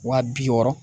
Wa bi wɔɔrɔ